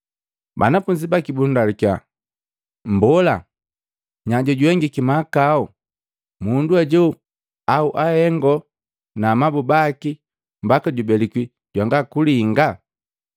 Banafunzi baki bundalukiya, “Mbola, nya jojuhengiki mahakau mundu ajo au ahengo na amabu baki mbaka jubelikwi jwanga kulinga?”